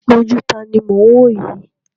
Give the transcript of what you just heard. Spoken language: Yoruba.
Ojú taàní mo ń woyi?